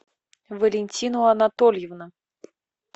валентина анатольевна